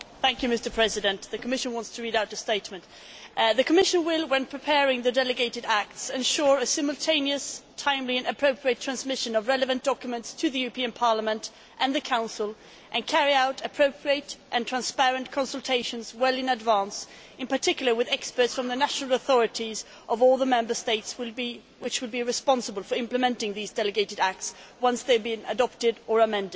Mr President, the Commission would like to read out the following statement The Commission will, when preparing the delegated acts, ensure a simultaneous, timely and appropriate transmission of relevant documents to the European Parliament and the Council and carry out appropriate and transparent consultations well in advance, in particular with experts from the national authorities of all the Member States which will be responsible for implementing these delegated acts once they have been adopted or amended.